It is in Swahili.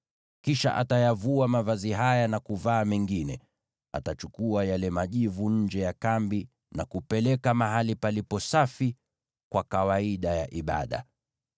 Kisha atayavua mavazi haya na kuvaa mengine, naye achukue yale majivu nje ya kambi na kuyapeleka mahali palipo safi kwa kawaida ya ibada.